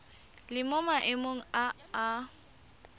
le mo maemong a a